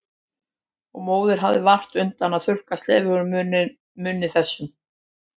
Og móðirin hafði vart undan að þurrka slefið úr munni þess.